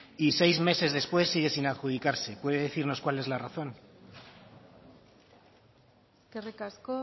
y seis meses después sigue sin adjudicarse puede decirnos cuál es la razón eskerrik asko